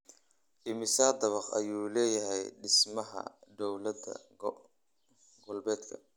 Immisa dabaq ayuu leeyahay dhismaha dawlad-goboleedka?